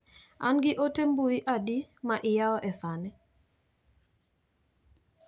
An gi ote mbui adi ma iyawo e sani.